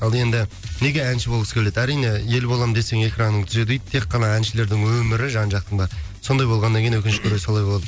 ал енді неге әнші болғысы келеді әрине ел боламын десең экраныңды түзе дейді тек қана әншілердің өмірі жан жақтың бәрі сондай болғаннан кейін өкінішке орай солай болады